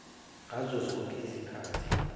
ngazo zonke izikhathi